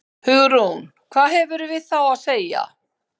Hugrún: Hvað hefurðu við þá að segja?